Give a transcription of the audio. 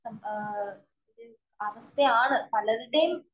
അവസ്ഥയാണ് പലരുടെയും